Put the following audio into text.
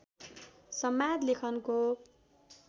संवाद लेखनको